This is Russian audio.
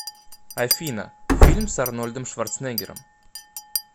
афина фильм с арнольдом шварцнегером